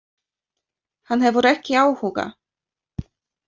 Hann hefur ekki áhuga.